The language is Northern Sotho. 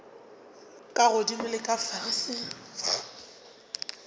ka godimo le ka fase